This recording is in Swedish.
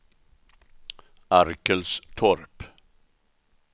Arkelstorp